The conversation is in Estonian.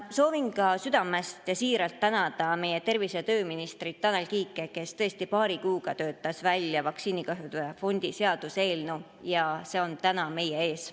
Soovin südamest ja siiralt tänada tervise‑ ja tööminister Tanel Kiike, kes tõesti paari kuuga töötas välja vaktsiinikahjude fondi seaduse eelnõu, ja see on täna meie ees.